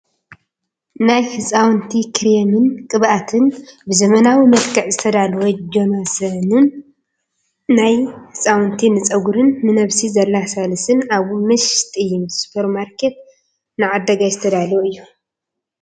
ናይ ህፃውንቲ ክሬምን ቅብኣትን ብዘመናዊ መልክዕ ዝተዳለወ ጆንሶንን ካልኦት ናይ ህፃውንቲ ንፀጉሪን ንነብሲ ዘለስልስን ኣብ መሸጢ ሱፐርማርከት ንዓዳጋይ ዝተዳለወ እዩ።